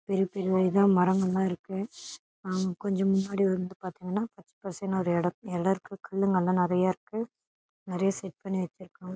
பெரிய பெரிய இதா மரங்கலா இருக்கு கொஞ்சம் முன்னாடி வந்து பாத்தீங்கனா பச்ச பசேருனு ஒரு இட எல இருக்கு கல்லுங்கலா நெறயா இருக்கு நெறயா செட் பண்ணி வாச்சுருக்காங்க.